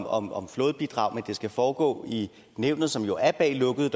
om om flådebidrag og det skal foregå i nævnet som jo er bag lukkede